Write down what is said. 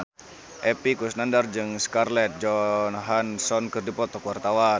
Epy Kusnandar jeung Scarlett Johansson keur dipoto ku wartawan